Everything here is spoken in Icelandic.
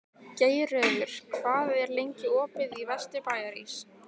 Geirröður, hvað er lengi opið í Vesturbæjarís?